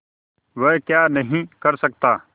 वह क्या नहीं कर सकता